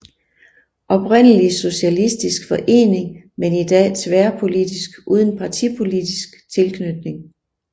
Oprindelig socialistisk forening men i dag tværpolitisk uden partipolitisk tilknytning